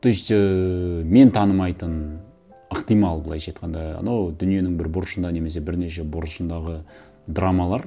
то есть ііі мен танымайтын ықтимал былайша айтқанда анау дүниенің бір бұрышында немесе бірнеше бұрышындағы драмалар